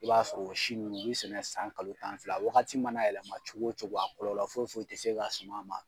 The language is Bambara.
I b'a sɔrɔ o si nunnu u be sɛnɛ san kalo tan fila. Wagati mana yɛlɛma cogo o cogo a kɔlɔlɔ foyi foyi te s'e ka suman ma.